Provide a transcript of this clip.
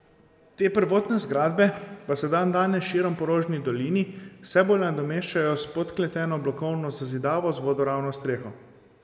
Te prvotne zgradbe pa se dandanes širom po Rožni dolini vse bolj nadomeščajo s podkleteno blokovno zazidavo z vodoravno streho.